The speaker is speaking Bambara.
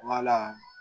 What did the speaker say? Wala